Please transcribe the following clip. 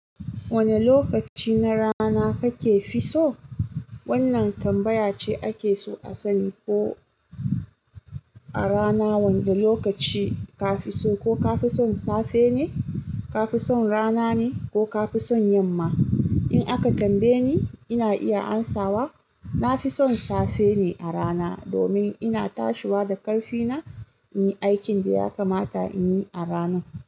Wane lokaci na rana kake fisso? Wannan tambaya ce ake so a sani ko a rana wanda lokaci ka fisso? Ko ka fison safe ne, ka fison rana ne ko ka fison yamma? In aka tambaye ni, ina iya amsawa. Na fison safe ne a rana, domin ina tashiwa da ƙarfi na, in yi aikin da ya kamata in yi a rana.